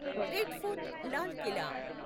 red fort Lal Qila